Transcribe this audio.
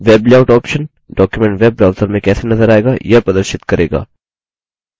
web layout option document web browser में कैसे नज़र आएगा यह प्रदर्शित करेगा